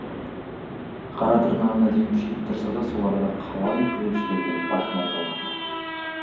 қара тырнағына дейін күйіп тұрса да сол арада қалай күліп жібергенін байқамай қалған ды